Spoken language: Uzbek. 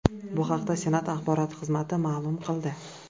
Bu haqda Senat Axborot xizmati ma’lum qildi .